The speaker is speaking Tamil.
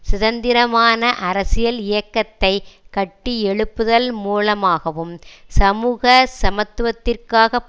சுதந்திரமான அரசியல் இயக்கத்தை கட்டி எழுப்புதல் மூலமாகவும் சமூக சமத்துவத்திற்காகப்